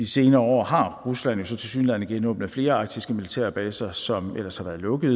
senere år har rusland jo så tilsyneladende genåbnet flere arktiske militærbaser som ellers har været lukket